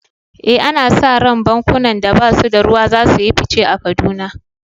Eh, ana sa ran bankunan da ba su da ruwa za su yi fice a Kaduna.